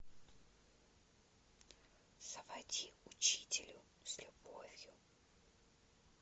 заводи учителю с любовью